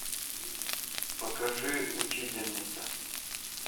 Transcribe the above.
покажи учительница